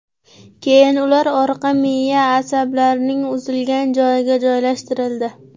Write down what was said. Keyin, ular orqa miya asablarining uzilgan joyiga joylashtirildi”.